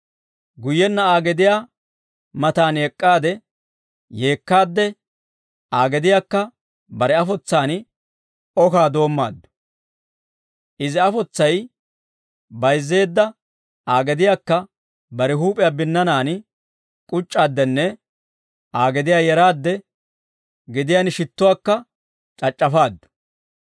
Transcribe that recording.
Guyyenna Aa gediyaa mataan ek'k'aade, yeekkaadde Aa gediyaakka bare afotsaan okaa doommaaddu; izi afotsay bayizzeedda Aa gediyaakka bare huup'iyaa binnanaan k'uc'c'aaddenne Aa gediyaa yeraade gediyaan shittuwaakka c'ac'c'afaaddu.